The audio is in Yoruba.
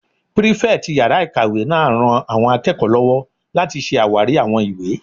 Pírífẹ̀tì yàrá-ìkàwé náà ran àwọn akẹ́kọ̀ọ́ lọ́wọ́ láti ṣe àwárí àwọn ìwé